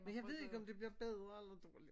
Men jeg ved ikke om det bliver bedre eller dårligere